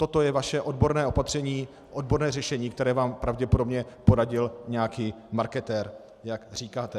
Toto je vaše odborné opatření, odborné řešení, které vám pravděpodobně poradil nějaký marketér, jak říkáte.